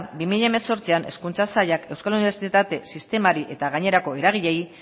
bi mila hemezortzian hezkuntza sailak euskal unibertsitate sistemari eta gainerako eragileei